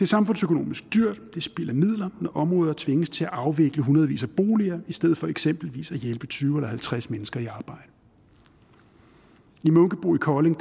samfundsøkonomisk dyrt det er spild af midler når områder tvinges til at afvikle hundredvis af boliger i stedet for eksempelvis at hjælpe tyve eller halvtreds mennesker i arbejde i munkebo i kolding